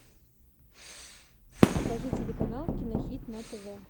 покажи телеканал кинохит на тв